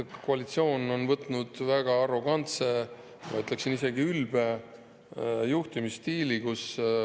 Koalitsioon on omandanud väga arrogantse, ma ütleksin, isegi ülbe juhtimisstiili.